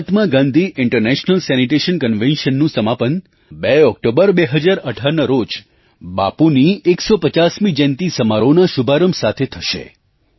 મહાત્મા Gandhi international sanitation convention Mahatma Gandhi international sanitation Conventionનું સમાપન 2 October 2018ના રોજ બાપુની 150મી જયંતી સમારોહના શુભારંભ સાથે થશે